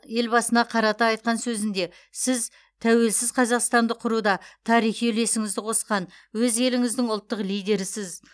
елбасына қарата айтқан сөзінде сіз тәуелсіз қазақстанды құруда тарихи үлесіңізді қосқан өз еліңіздің ұлттық лидерісіз